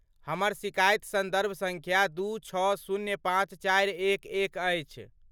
हमर शिकायत सन्दर्भ सङ्ख्या दू छओ शून्य पाँच चारि एक एक अछि।